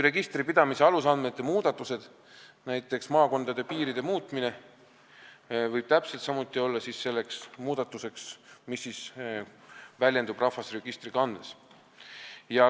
Registripidamise alusandmete muudatused, näiteks maakonnapiiride muutumine, võivad täpselt samuti olla see muudatus, mis väljendub rahvastikuregistri kandes.